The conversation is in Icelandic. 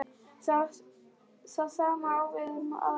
Það sama á við um aðra leikmenn?